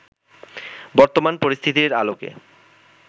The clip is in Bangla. বর্তমান পরিস্থিতির আলোকে